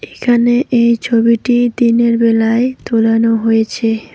এইখানে এই ছবিটি দিনের বেলায় তোলানো হয়েছে।